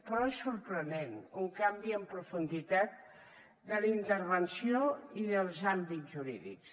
però és sorprenent un canvi en profunditat de la intervenció i dels àmbits jurídics